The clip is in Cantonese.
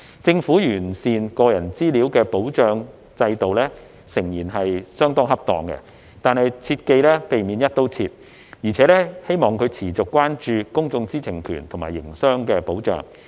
政府完善個人資料的保障制度誠然是相當恰當的，但切記要避免"一刀切"，並希望政府持續關注公眾知情權和營商保障。